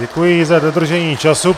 Děkuji za dodržení času.